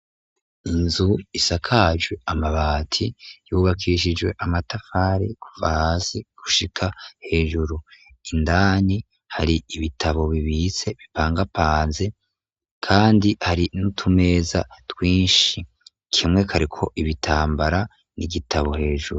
Inzu isakajwe amabati yubakishijwe amatafari kuva hasi gushika hejuru indani hari ibitabo bibitse bipangapanze kandi hari nutumeza twinshi kimwe kari ko ibitambara n'igitabo hejuru.